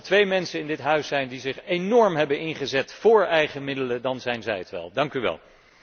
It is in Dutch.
Als er twee mensen in dit huis zijn die zich enorm hebben ingezet voor eigen middelen, dan zijn zij het wel.